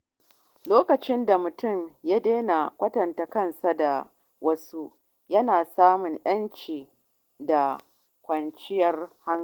Lokacin da mutum ya daina kwatanta kansa da wasu, yana samun yanci da kwanciyar hankali.